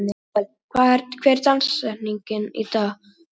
Manuel, hver er dagsetningin í dag?